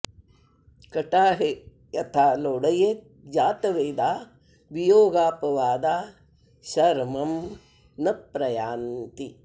कटाहे यथा लोडयेत् जातवेदा वियोगापवादाः शर्मं न प्रयान्ति